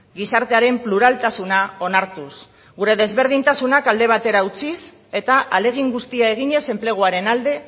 gizartearen pluraltasuna onartuz gure desberdintasunak alde batera utziz eta ahalegin guztia eginez enpleguaren alde